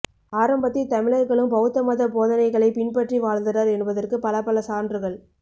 ஆரம்பத்தில் தமிழர்களும் பௌத்தமத போதனைகளைப் பின்பற்றி வாழ்ந்தனர் என்பதற்கு பல பல சான்றுகள்